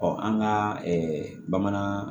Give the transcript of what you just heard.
an ka bamanan